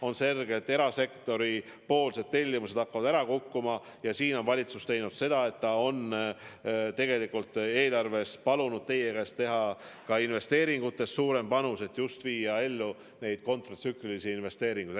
On selge, et erasektori tellimused hakkavad ära kukkuma ja nüüd on valitsus teinud seda, et ta on tegelikult palunud teie käest luba panustada eelarvest suurem osa, et just viia ellu neid kontratsüklilisi investeeringuid.